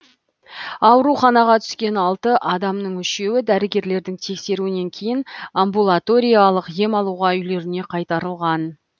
ауруханаға түскен алты адамның үшеуі дәрігерлердің тексеруінен кейін амбулаториялық ем алуға үйлеріне қайтарылған